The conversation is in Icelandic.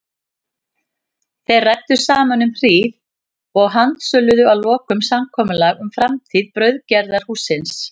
Þeir ræddu saman um hríð og handsöluðu að lokum samkomulag um framtíð brauðgerðarhússins.